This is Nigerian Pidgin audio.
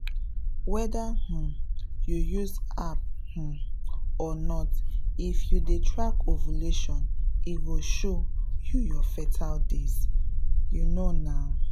if you dey watch your fertility signs and use things like calendar calendar and kits e fit really help you get belle — actually!